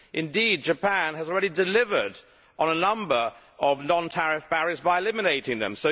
Indeed, Japan has already delivered on a number of non tariff barriers by eliminating them.